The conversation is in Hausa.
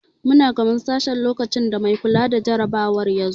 Muna gaban sashen lokacin da mai kula da jarabawar ya zo.